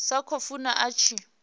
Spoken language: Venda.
sa khou funa a tshi